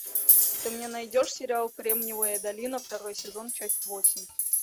ты мне найдешь сериал кремниевая долина второй сезон часть восемь